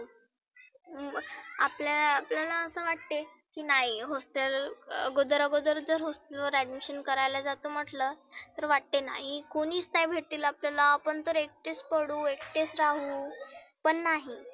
मग आपल्या आपल्याला असे वाटते की नाही hostel आगोदर आगोदर जर hostel वर admission करायला जातो म्हटलं तर वाटते नाही कोणिच नाही भेटतील आपल्याला आपण तर एकटेच पडु एकटेच राहु पण नाही.